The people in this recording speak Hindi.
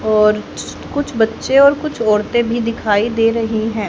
और कुछ बच्चे और कुछ औरतें भी दिखाई दे रही हैं।